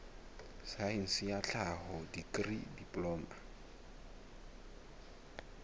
saense ya tlhaho dikri diploma